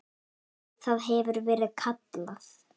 Það hefur verið kallað